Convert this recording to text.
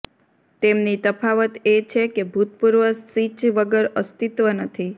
તેમની તફાવત એ છે કે ભૂતપૂર્વ સિચ વગર અસ્તિત્વ નથી